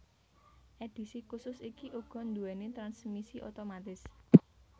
Edhisi khusus iki uga nduwéni transmisi otomatis